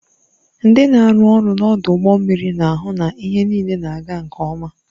Ndị na-arụ ọrụ n'ọdụ ụgbọ mmiri na-ahụ na ihe niile na-aga nke ọma.